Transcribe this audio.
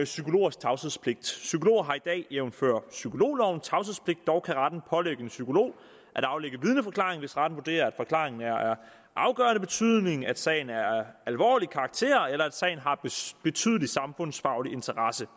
psykologers tavshedspligt psykologer har i dag jævnfør psykologloven tavshedspligt dog kan retten pålægge en psykolog at aflægge vidneforklaring hvis retten vurderer at forklaringen er af afgørende betydning at sagen er af alvorlig karakter eller at sagen har betydelig samfundsfaglig interesse